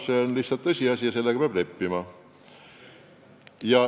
See on lihtsalt tõsiasi ja sellega peab leppima.